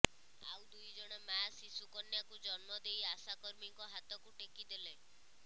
ଆଉ ଦୁଇ ଜଣ ମାଆ ଶିଶୁ କନ୍ୟାକୁ ଜନ୍ମ ଦେଇ ଆଶା କର୍ମୀଙ୍କ ହାତକୁ ଟେକି ଦଲେ